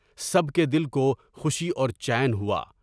سب کے دل کو خوشی اور چین ہوا۔